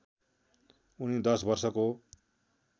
उनी दश वर्षको